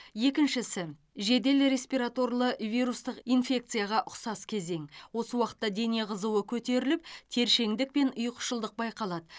екіншісі жедел респераторлы вирустық инфекцияға ұқсас кезең осы уақытта дене қызуы көтеріліп тершеңдік пен ұйқышылдық байқалады